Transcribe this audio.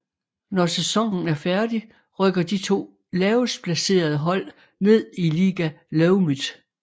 Når sæsonen er færdig rykker de to lavest placerede hold ned i Liga Leumit